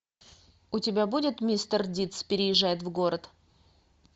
у тебя будет мистер дидс переезжает в город